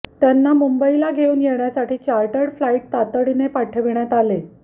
त्यांना मुंबईला घेऊन येण्यासाठी चॉर्टर्ड फ्लाईट तातडीने पाठविण्यात आले